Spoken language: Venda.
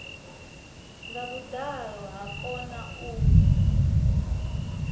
nga vhuḓalo ha kona u